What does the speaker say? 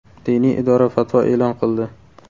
Diniy idora fatvo e’lon qildi .